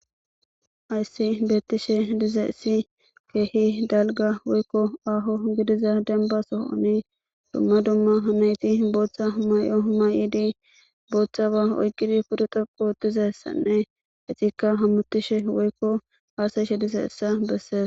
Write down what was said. Hayssi beettishe dize essi keehi dalga woykko aaho gidiza denba sohoni dumma dumma hanayti booththa hmay7o may7idi booththa ba oyqqidi pudexaqu ootizasanne hexikka hammutishe woykko aasayishe dize essa besseesa